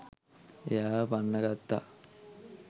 එයාව පන්නගත්තා.